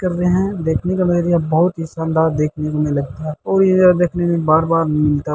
कर रहे हैं | देखने का नजरिया बहुत ही शानदार देखने को मिल रहा है और इधर देखने में बार बार मिलता --